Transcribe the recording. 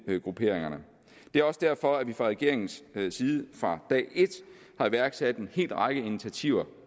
er også derfor vi fra regeringens side fra dag et har iværksat en hel række af initiativer